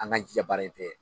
An k'an jija baara in fɛ.